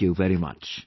Thank you very much